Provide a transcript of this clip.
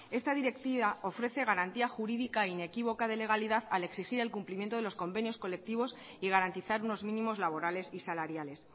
esta directiva ofrece garantía jurídica inequívoca de legalidad al exigir el cumplimiento de los convenios colectivos y garantizar unos mínimos laborales y salariales